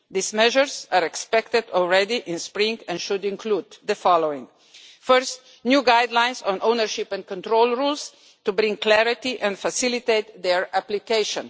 These measures are expected in the spring and should include the following first, new guidelines on ownership and control rules to bring clarity and facilitate their application